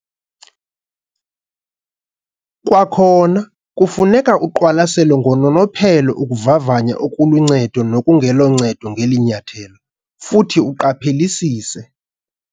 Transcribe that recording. Kwakhona, kufuneka uqwalaselo ngononophelo ukuvavanya okuluncedo nokungeloncedo ngeli nyathelo, futhi uqaphelisise.